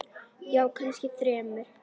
Já, kannski þremur.